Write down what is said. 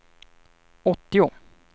åttio